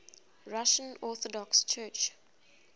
russian orthodox church